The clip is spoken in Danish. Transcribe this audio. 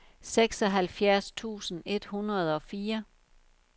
seksoghalvfjerds tusind et hundrede og fire